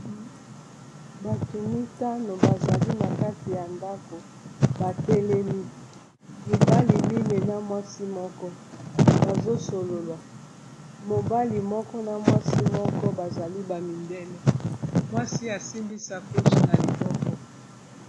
bato mitano bazali na kati ya ndako batelemi mibali mine na mwasi moko bazosolola mobali moko na mwasi moko bazali bamindele mwasi asimbisa coshe na liboko